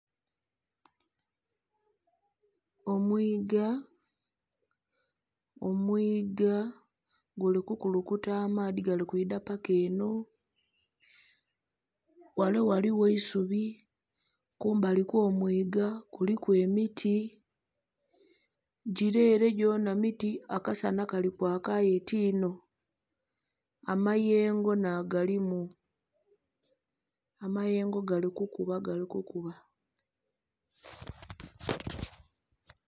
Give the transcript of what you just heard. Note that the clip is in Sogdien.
Omwiiga, omwiiga guli kukulukuta amaadhi gali kwidha paka enho, ghale ghaligho eisubi , kumbali kwo mwiiga kuliku emiti, gile ere gyonha miti akasanha Kali kwaaka aye ti'nho amayengo nha galimu, amayengo gali kukuba gali kukuba.